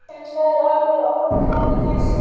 En það er alveg óráðið.